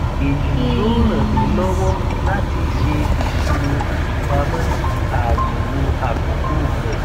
èyí yóò ran mi lọwọ láti ṣe ìṣirò ìpamọ ààyèwọ àpòpò rẹ